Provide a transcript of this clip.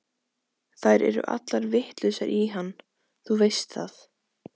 Þær eru allar vitlausar í hann, þú veist það.